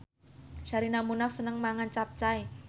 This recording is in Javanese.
Sherina Munaf seneng mangan capcay